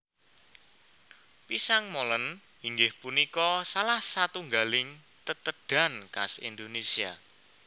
Pisang Molen inggih punika salah satunggaling tetedhan khas Indonésia